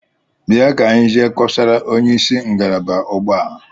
Bịa ka anyị jee kọsara onyeisi ngalaba ugbu a!